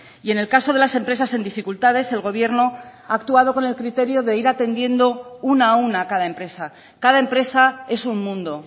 y en el caso de las empresas en dificultades el gobierno ha actuado con el criterio de ir atendiendo una a una cada empresa cada empresa es un mundo